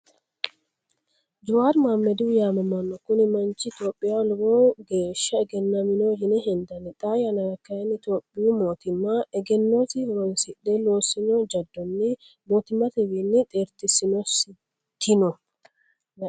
Jewaari maamediho yaamamano, kuni manchi topiyaaho lowo geesha eggenamoho yine hendanni xaa yanara kayinni tophiyuu mootimma eggenosi horonsire loosinno jadonni motimatewiini xeerteesitino